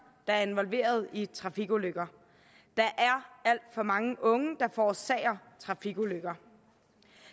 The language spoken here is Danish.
der er involveret i trafikulykker der er alt for mange unge der forårsager trafikulykker